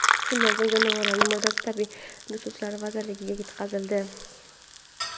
Shundan so‘ng jonivorning murdasi tabiiy resurslar vazirligiga yetkazildi.